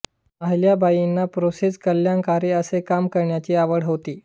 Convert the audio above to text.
अहिल्याबाईंना प्रजेस कल्याणकारी असे काम करण्याची आवड होती